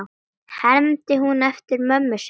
hermdi hún eftir mömmu sinni.